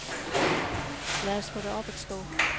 Lad os få det op at stå.